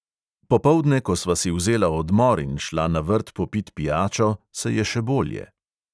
Popoldne, ko sva si vzela odmor in šla na vrt popit pijačo, se je še bolje.